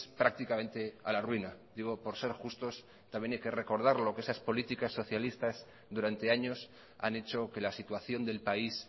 prácticamente a la ruina digo por ser justos también hay que recordar lo que esas políticas socialistas durante años han hecho que la situación del país